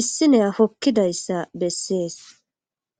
issiney hokkidayssa bessees.